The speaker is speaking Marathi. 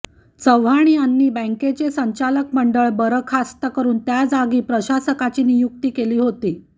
चव्हाण यांनी बँकेचे संचालक मंडळ बरखास्त करून त्या जागी प्रशासकाची नियुक्ती केली होती